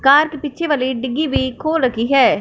Car की पीछे वाली डिग्गी भी खोल रखी है।